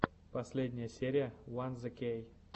последняя серия ван зе кей